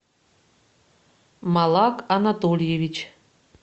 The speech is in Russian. малак анатольевич